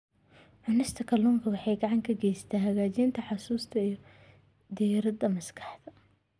Cunista kalluunka waxay gacan ka geysataa hagaajinta xusuusta iyo diiradda maskaxda.